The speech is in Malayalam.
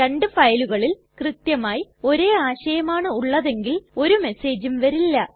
രണ്ടു ഫയലുകളിൽ കൃത്യമായി ഒരേ ആശയമാണ് ഉള്ളതെങ്കിൽ ഒരു മെസ്സേജും വരില്ല